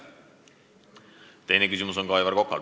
Teine küsimus on ka Aivar Kokal.